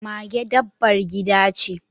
Mage dabbar gida ce.